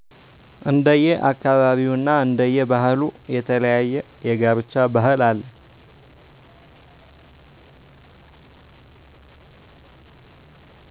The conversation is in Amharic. እንደየ አካባቢውና እንደየ ባህሉ የተለያየ የጋብቻ ባህል አለ